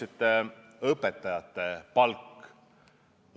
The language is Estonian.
Nimelt, õpetajate palk.